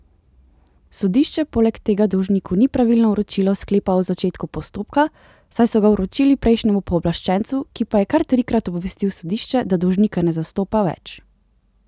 Sodišče poleg tega dolžniku ni pravilno vročilo sklepa o začetku postopka, saj so ga vročili prejšnjemu pooblaščencu, ki pa je kar trikrat obvestil sodišče, da dolžnika ne zastopa več.